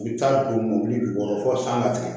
U bɛ taa don mɔbili jukɔrɔ fɔ san ka tigɛ